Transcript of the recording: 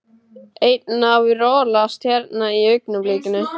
Einn að rolast hérna í augnablikinu.